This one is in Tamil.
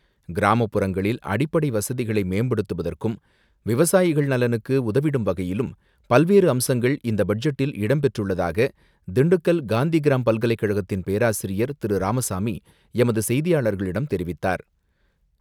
கிராமப்புறங்களில் அடிப்படை வசதிகளை மேம்படுத்துவதற்கும், விவசாயிகள் நலனுக்கு உதவிடும் வகையிலும் பல்வேறு அம்சங்கள் இந்தபட்ஜெட்டில் இடம் பெற்றுள்ளதாக திண்டுக்கல் காந்திகிராம் பல்கலைக்கழகத்தின் பேராசிரியர் திரு. ராமசாமி எமது செய்தியாளர்களிடம் தெரிவித்தார்.